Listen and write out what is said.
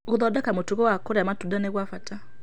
Gũthondeka mũtugo wa kũrĩa matunda nĩ gwa bata.